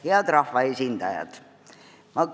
Head rahvaesindajad!